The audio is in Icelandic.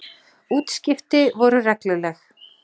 Útskipti voru regluleg.